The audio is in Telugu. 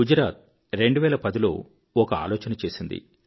గుజరాత్ 2010 లో ఒక ఆలోచన చేసింది